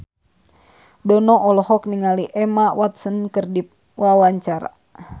Dono olohok ningali Emma Watson keur diwawancara